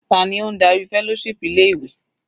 Ta ni ó ń darí fellowship ilé ìwé?